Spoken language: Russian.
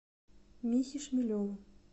михе шмелеву